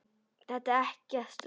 Þetta er ekkert langt.